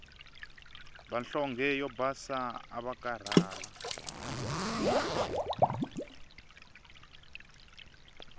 vanhlonge yo basa avakarhala